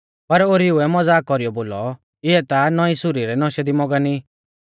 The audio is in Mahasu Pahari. पर ओरीउऐ मज़ाक कौरीयौ बोलौ इऐ ता नौईं सुरी रै नौशै दी मगन ई